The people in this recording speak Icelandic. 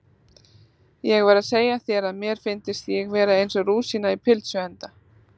Ég var að segja þér að mér fyndist ég vera eins og rúsína í pylsuenda